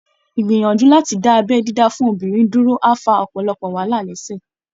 Ìgbìyànjú láti dá abẹ́ dídá fún obìnrin dúró á fa ọ̀pọ̀lọpọ̀ wàhálà lẹ́sẹ̀